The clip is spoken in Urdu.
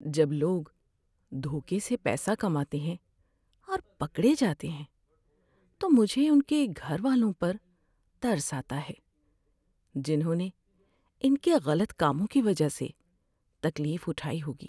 جب لوگ دھوکے سے پیسہ کماتے ہیں اور پکڑے جاتے ہیں، تو مجھے ان کے گھر والوں پر ترس آتا ہے جنہوں نے ان کے غلط کاموں کی وجہ سے تکلیف اٹھائی ہوگی۔